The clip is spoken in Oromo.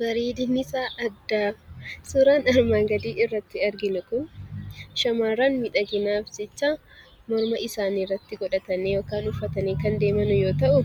Bareedinni isaa akkam! Suuraan armaan gadii irratti arginu Kun, shamarran miidhaginaaf jecha morma isaanii irratti godhatanii yookaan uffatanii kan deeman yoo ta'u,